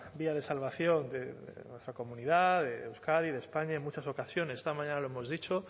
vía de salvación de nuestra comunidad de euskadi de españa en muchas ocasiones esta mañana lo hemos dicho